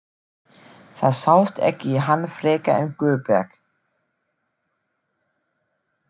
Það sást ekki í hann frekar en Guðberg.